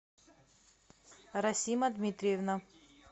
расима дмитриевна